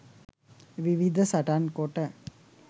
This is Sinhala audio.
විවිධ සටන් කොට